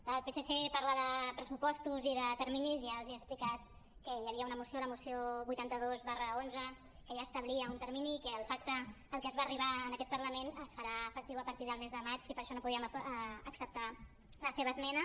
la del psc parla de pressupostos i de terminis i ja els he explicat que hi havia una moció la moció vuitanta dos xi que ja establia un termini i que el pacte al qual es va arribar en aquest parlament es farà efectiu a partir del mes de maig i per això no podíem acceptar la seva esmena